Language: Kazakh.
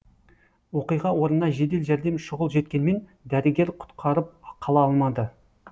оқиға орнына жедел жәрдем шұғыл жеткенмен дәрігер құтқарып қала алмады